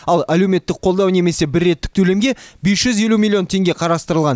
ал әлеуметтік қолдау немесе бір реттік төлемге бес жүз елу миллион теңге қарастырылған